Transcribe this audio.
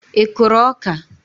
I kụrụ ọka?